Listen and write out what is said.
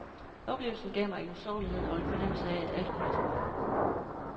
Oplevelsen gav mig en usårlighed og en fornemmelse af at alt kunne lade sig gøre.